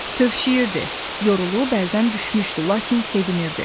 Tövşüyürdü, yorulub əldən düşmüşdü, lakin sevinirdi.